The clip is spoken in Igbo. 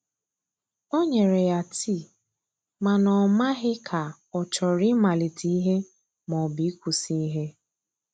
o nyere ya tii, mana o maghi ka ochọrọ I malite ihe ma ọbụ ikwụsi ihe.